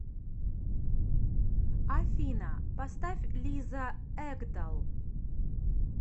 афина поставь лиза экдал